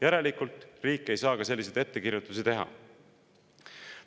Järelikult ei saa riik ka selliseid ettekirjutusi teha.